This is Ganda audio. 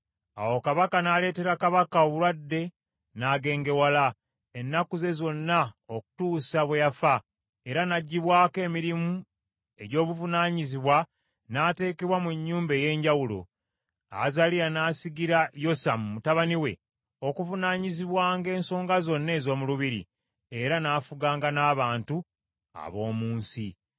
Awo Mukama n’aleetera kabaka obulwadde n’agengewala , ennaku ze zonna okutuusa bwe yafa, era n’aggyibwako emirimu egy’obuvunaanyizibwa n’ateekebwa mu nnyumba ey’enjawulo. Azaliya n’asigira Yosamu mutabani we okuvunaanyizibwanga ensonga zonna ez’omu lubiri, era n’afuganga n’abantu ab’omu nsi.